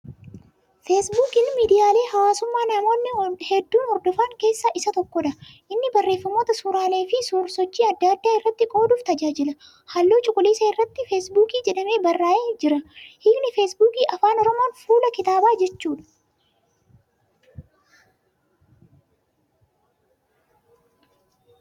Feesbuukiin miidiyaalee hawaasummaa namoonni hedduun hordofan keessaa isa tokkodha. Inni barreeffamoota , suuraalee fi suur-sochii adda addaa irratti qooduuf tajaajila. Halluu cuquliisa irratii ' feesbuukii ' jedhamee barraa'ee jira. Hiikni Feesbuukii Afaan Oromoon fuula kitaabaa jechuudha.